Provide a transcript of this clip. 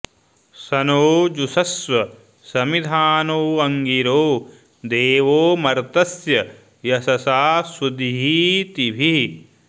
स नो जुषस्व समिधानो अङ्गिरो देवो मर्तस्य यशसा सुदीतिभिः